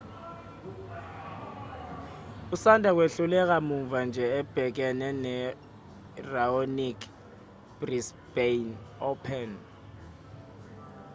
usanda kwehluleka muva nje ebhekene no-raonic ebrisbane open